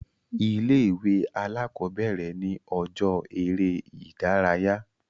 Ilé ìwé alákọ̀bẹ̀rẹ̀ ni ọjọ́ eré ìdárayá.